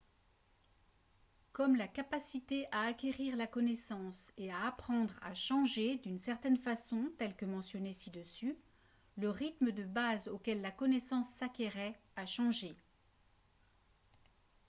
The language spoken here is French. comme la capacité à acquérir la connaissance et à apprendre a changé d'une certaine façon telle que mentionnée ci-dessus le rythme de base auquel la connaissance s'acquérait a changé